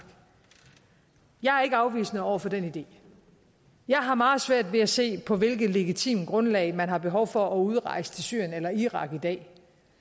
jeg er ikke afvisende over for den idé jeg har meget svært ved at se på hvilket legitimt grundlag man har behov for at udrejse til syrien eller irak i dag